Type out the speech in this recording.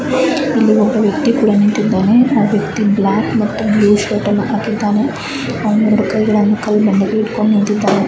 ಇಲ್ಲಿ ಒಬ್ಬ ವ್ಯಕ್ತಿ ಕೂಡ ನಿಂತಿದ್ದಾನೆ ಆ ವ್ಯಕ್ತಿ ಬ್ಲಾಕ್ ಮತ್ತು ಬ್ಲೂ ಶರ್ಟ್ ಅನ್ನು ಹಾಕಿದ್ದಾನೆ ಎರಡು ಕೈಗಳನ್ನು ಕಲ್ ಬಂಡೆಗೆ ಇಟ್ಕೊಂಡು ನಿಂತಿದ್ದಾನೆ .